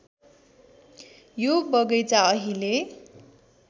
यो बगैंचा अहिले